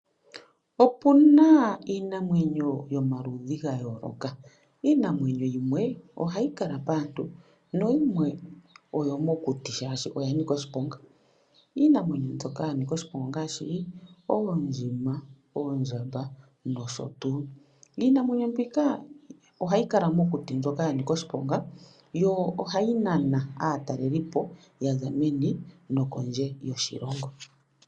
Opuna iinamwenyo yomaludhi gayooloka, iinamwenyo yimwe oha yi kala paantu na yimwe oyomokuti shashi oyanika oshiponga. Iinamwenyo yomokuti ndjoka yanika oshiponga, ongaashi oondjima, oondjamba nosho tuu. Iinamwenyo ndjoka ha yi kala mokuti ohayikala yanika oshiponga yo ohainana aataleli ya za meni nosho woo kondje yoshilongo.